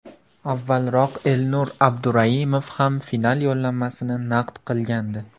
Avvalroq Elnur Abduraimov ham final yo‘llanmasini naqd qilgandi.